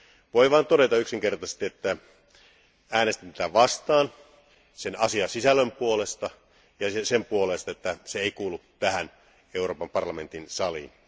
Voin vain todeta yksinkertaisesti, että äänestin tätä vastaan sen asiasisällön vuoksi ja sen vuoksi, että se ei kuulu tänne Euroopan parlamentin saliin.